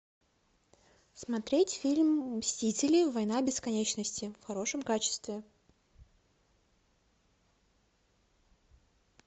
смотреть фильм мстители война бесконечности в хорошем качестве